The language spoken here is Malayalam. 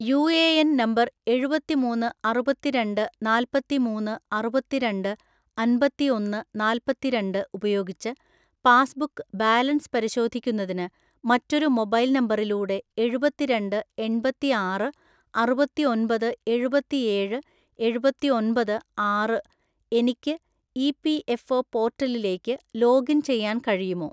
യുഎഎൻ നമ്പർ എഴുപത്തി മൂന്ന്‌ അറുപത്തി രണ്ട്‌ നാപ്പത്തി മൂന്ന്‌ അറുപത്തി രണ്ട്‌ അമ്പത്തി ഒന്ന്‌ നാപ്പത്തി രണ്ട്‌ ഉപയോഗിച്ച് പാസ്ബുക്ക് ബാലൻസ് പരിശോധിക്കുന്നതിന് മറ്റൊരു മൊബൈൽ നമ്പറിലൂടെ എഴുപത്തി രണ്ട്‌ എണ്‍പത്തി ആറ് അറുപത്തി ഒൻപത് എഴുപത്തി ഏഴ് എഴുപത്തി ഒൻപത് ആറ് എനിക്ക് ഇപിഎഫ്ഒ പോർട്ടലിലേക്ക് ലോഗിൻ ചെയ്യാൻ കഴിയുമോ?